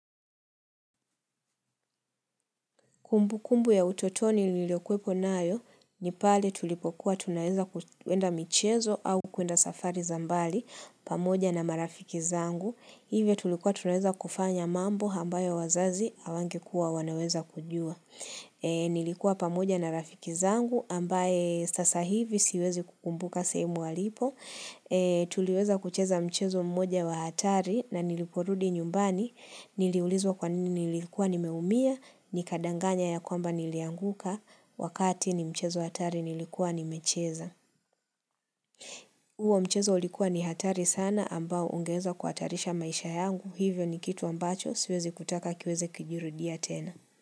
Kumbu kumbu ya utotoni niliyo kuepo nayo, ni pale tulipokuwa tunaweza kuenda michezo au kuenda safari za mbali pamoja na marafiki zangu. Hivyo tulikuwa tunaweza kufanya mambo ambayo wazazi hawangekua wanaweza kujua. Nilikuwa pamoja na rafiki zangu ambaye sasa hivi siwezi kukumbuka sehemu alipo. Tuliweza kucheza mchezo mmoja wa hatari na niliporudi nyumbani. Niliulizwa kwa nini nilikuwa nimeumia nikadanganya ya kwamba nilianguka wakati ni mchezo hatari nilikuwa nimecheza huo mchezo ulikuwa ni hatari sana ambao ungeweza kuhatarisha maisha yangu hivyo ni kitu ambacho siwezi kutaka kiweze kijirudia tena.